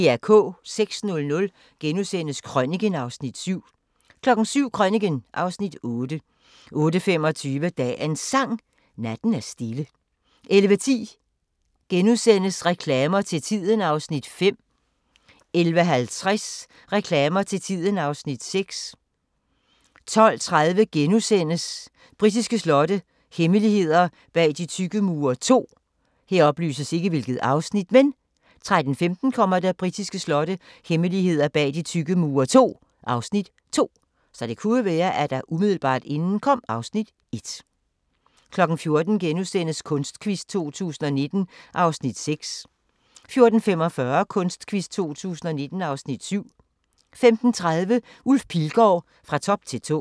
06:00: Krøniken (Afs. 7)* 07:00: Krøniken (Afs. 8) 08:25: Dagens Sang: Natten er stille 11:10: Reklamer til tiden (Afs. 5)* 11:50: Reklamer til tiden (Afs. 6) 12:30: Britiske slotte – hemmeligheder bag de tykke mure II * 13:15: Britiske slotte – hemmeligheder bag de tykke mure II (Afs. 2) 14:00: Kunstquiz 2019 (Afs. 6)* 14:45: Kunstquiz 2019 (Afs. 7) 15:30: Ulf Pilgaard – Fra top til tå